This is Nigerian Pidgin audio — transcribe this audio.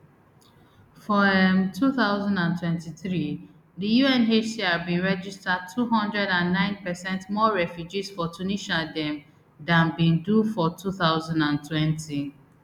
for um two thousand and twenty-three di unhcr bin register two hundred and nine per cent more refugees for tunisia dem dan bin do for two thousand and twenty